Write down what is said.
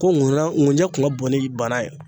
Ko ŋuna ŋunjɛ kun ŋa bon ni bana ye.